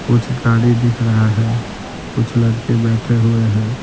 कुछ गाड़ी दिख रहा है कुछ लड़के बैठे हुए है।